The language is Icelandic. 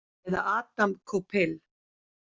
Eða Adam Koupil?